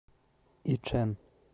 ичэн